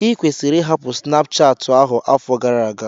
Ikwesịrị ịhapụ Snapuchati ahụ afọ gara aga!